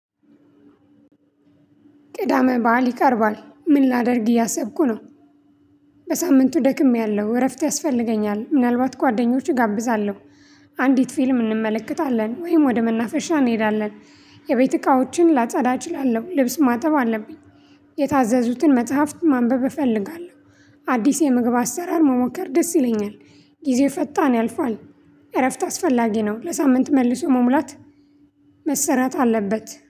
ቅዳመ በዓል ይቀርባል ምን ላደርግ እያሰብኩ ነው። በሳምንቱ ደክሜያለሁ እረፍት ያስፈልገኛል ምናልባት ጓደኞችህ እጋብዛለሁ። አንዲት ፊልም እንመለከታለን ወይም ወደ መናፈሻ እንሄዳለን። የቤት እቃዎችን ላጻዳ እችላለሁ ልብስ ማጠብ አለብኝ። የታዘዙትን መጽሐፍት ማንበብ እፈልጋለሁ። አዲስ የምግብ አሰራር መሞከር ደስ ይለኛል። ጊዜ ፈጣን ያልፋል። እረፍት አስፈላጊ ነው ለሳምንት መልሶ መሙላት። መሰራት አለበት